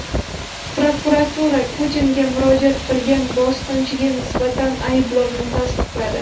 Prokuratura Putinga murojaat qilgan bosqinchiga nisbatan ayblovni tasdiqladi.